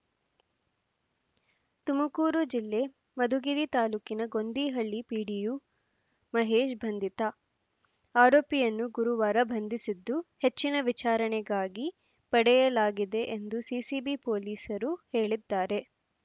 ತುಮಕೂರು ಜಿಲ್ಲೆ ಮಧುಗಿರಿ ತಾಲೂಕಿನ ಗೊಂದಿಹಳ್ಳಿ ಪಿಡಿಒ ಮಹೇಶ್‌ ಬಂಧಿತ ಆರೋಪಿಯನ್ನು ಗುರುವಾರ ಬಂಧಿಸಿದ್ದು ಹೆಚ್ಚಿನ ವಿಚಾರಣೆಗಾಗಿ ಪಡೆಯಲಾಗಿದೆ ಎಂದು ಸಿಸಿಬಿ ಪೊಲೀಸರು ಹೇಳಿದ್ದಾರೆ